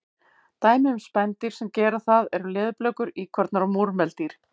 Dæmi um spendýr sem gera það eru leðurblökur, íkornar og múrmeldýr.